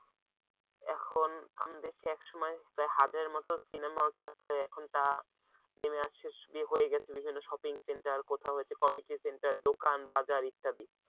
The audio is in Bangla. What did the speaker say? এখন আমাদের দেশে একসময় প্রায় হাজারের মতো সিনেমা থাকলে এখন তা নেমে আসে হয়ে গেছে বিভিন্ন shopping centre কোথাও হয়েছে committee centre দোকান বাজার ইত্যাদি